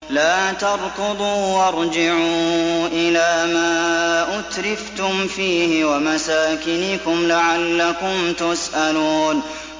لَا تَرْكُضُوا وَارْجِعُوا إِلَىٰ مَا أُتْرِفْتُمْ فِيهِ وَمَسَاكِنِكُمْ لَعَلَّكُمْ تُسْأَلُونَ